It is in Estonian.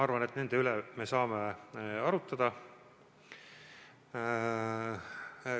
Usun, et nende üle me saame arutada.